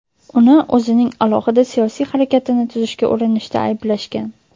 Uni o‘zining alohida siyosiy harakatini tuzishga urinishda ayblashgan.